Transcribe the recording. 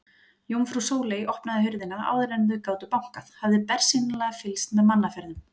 Jómfrú Sóley opnaði hurðina áður en þau gátu bankað, hafði bersýnilega fylgst með mannaferðum.